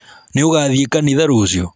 Nĩũgathiĩ kanitha rũciũ?